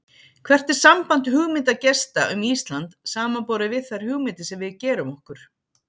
Hvert er samband hugmynda gesta um Ísland samanborið við þær hugmyndir sem við gerum okkur?